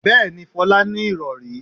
Bẹ́ẹ̀ni, Folá ní ìrọ̀rí.